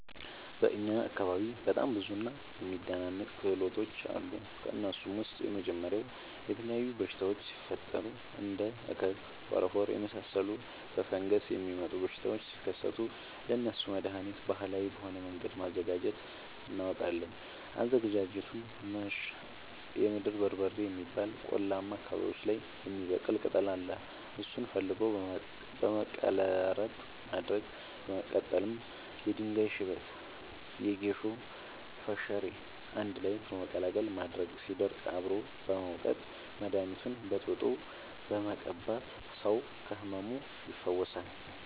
በእኛ አካባቢ በጣም ብዙ እና የሚደናንቅ ክህሎቶች አሉ። ከእነሱም ውስጥ የመጀመሪያው የተለያዩ በሽታወች ሲፈጠሪ እንደ እከክ ፎረፎር የመሳሰሉ በፈንገስ የሚመጡ በሽታዎች ሲከሰቱ ለእነሱ መደሀኒት ባህላዊ በሆነ መንገድ ማዘጋጀት እናውቃለን። አዘገጃጀቱመሸ የምድር በርበሬ የሚባል ቆላማ አካባቢዎች ላይ የሚበቅል ቅጠል አለ እሱን ፈልጎ በመቀለረጥ ማድረቅ በመቀጠልም የድንጋይ ሽበት የጌሾ ፈሸሬ አንድላይ በመቀላቀል ማድረቅ ሲደርቅ አብሮ በመውቀጥ መደኒቱን በጥብጦ በመቀባት ሰው ከህመሙ ይፈወሳል።